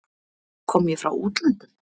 Kom ég frá útlöndum?